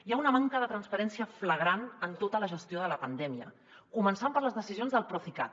hi ha una manca de transparència flagrant en tota la gestió de la pandèmia començant per les decisions del procicat